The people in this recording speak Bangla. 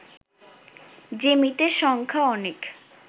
যে মৃতের সংখ্যা অনেক